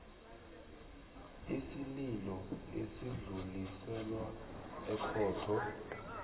isililo esidluliselwa ekhotho